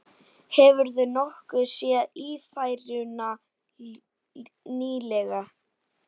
Hefurðu nokkuð séð Ífæruna nýlega?